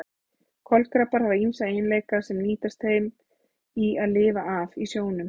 Kolkrabbar hafa ýmsa eiginleika sem nýtast þeim í að lifa af í sjónum.